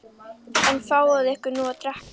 En fáiði ykkur nú að drekka.